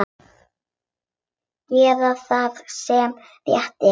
Gera það sem rétt er.